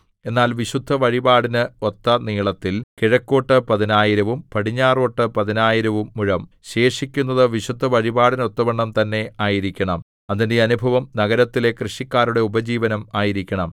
എന്നാൽ വിശുദ്ധവഴിപാടിന് ഒത്ത നീളത്തിൽ കിഴക്കോട്ടു പതിനായിരവും പടിഞ്ഞാറോട്ടു പതിനായിരവും മുഴം ശേഷിക്കുന്നത് വിശുദ്ധവഴിപാടിനൊത്തവണ്ണം തന്നെ ആയിരിക്കണം അതിന്റെ അനുഭവം നഗരത്തിലെ കൃഷിക്കാരുടെ ഉപജീവനം ആയിരിക്കണം